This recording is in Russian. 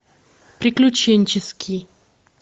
приключенческий